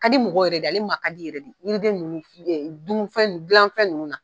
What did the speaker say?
Ka di mɔgɔw ye yɛrɛ de, ale man ka di yɛrɛ de, yiriden nunnu na dun fɛn gilanfɛn nunnu na.